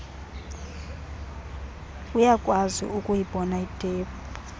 uyakwazi ukuyibona itephu